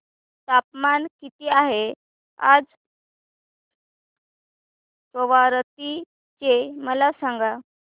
तापमान किती आहे आज कवारत्ती चे मला सांगा